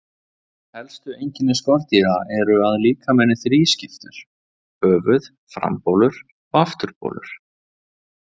Helstu einkenni skordýra eru að líkaminn er þrískiptur: höfuð, frambolur og afturbolur.